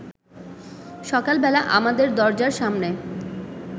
সকালবেলা আমাদের দরজার সামনে